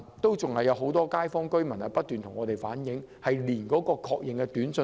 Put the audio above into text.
然而，仍有很多居民不斷向我們反映，仍未收到確認短訊。